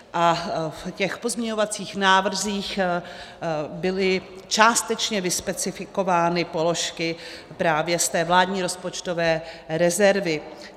A v těch pozměňovacích návrzích byly částečně vyspecifikovány položky právě z té vládní rozpočtové rezervy.